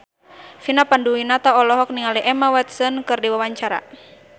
Vina Panduwinata olohok ningali Emma Watson keur diwawancara